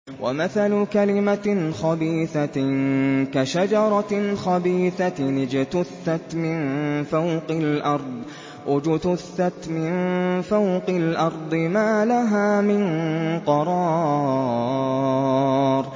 وَمَثَلُ كَلِمَةٍ خَبِيثَةٍ كَشَجَرَةٍ خَبِيثَةٍ اجْتُثَّتْ مِن فَوْقِ الْأَرْضِ مَا لَهَا مِن قَرَارٍ